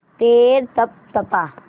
पैर तपतपा